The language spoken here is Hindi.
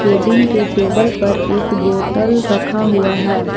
केबिन के टेबल पर एक बोटल रखा हुआ है।